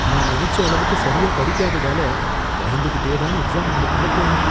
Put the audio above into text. நான் நனைச்ச அளவுக்கு சரியா படிக்காததால பயந்துக்கிட்டே தான் எக்ஸாம் ஹாலுக்குள்ள போனேன்